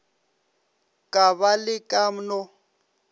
ka ba le ka no